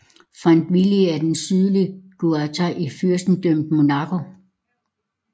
Fontvieille er den sydligste quartier i Fyrstendømmet Monaco